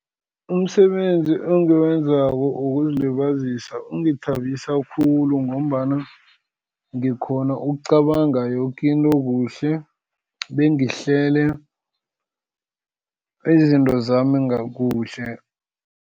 Umsebenzi engiwenzako wokuzilibazisa ungithabisa khulu ngombana ngikghona ukucabanga yoke into kuhle, bengihlele izinto zami kuhle.